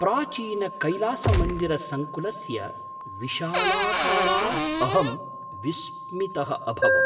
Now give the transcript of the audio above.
प्राचीनकैलासमन्दिरसङ्कुलस्य विशालाकाराद् अहं विस्मितः अभवम्!